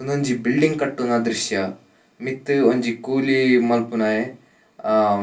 ಉಂದೊಂಜಿ ಬಿಲ್ಡಿಂಗ್ ಕಟ್ಟುನ ದ್ರುಶ್ಯ ಮಿತ್ತ್ ಒಂಜಿ ಕೂಲಿ ಮನ್ಪುನಾಯೆ ಅ.